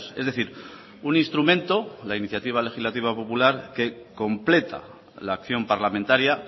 es decir un instrumento la iniciativa legislativa popular que completa la acción parlamentaria